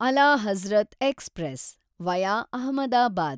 ಅಲಾ ಹಜರತ್ ಎಕ್ಸ್‌ಪ್ರೆಸ್(ವಿಯಾ ಅಹಮದಾಬಾದ್)